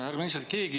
Härra minister!